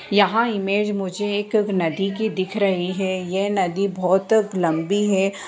यहाँ इमेज मुझे एक नदी के दिख रहे हैं ये नदी बहुत लम्बी है।